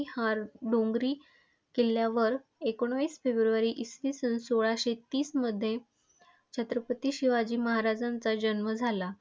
ह्या डोंगरी किल्ल्यावर एकोणीस फेब्रुवारी इसवी सन सोळाशे तीस मध्ये छत्रपती शिवाजी महाराजांचा जन्म झाला.